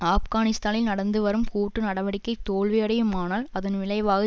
ஆப்கானிஸ்தானில் நடந்து வரும் கூட்டு நடவடிக்கை தோல்வியடையுமானால் அதன் விளைவாக